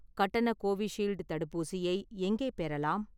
கட்டண கோவிஷீல்டு தடுப்பூசியை எங்கே பெறலாம்?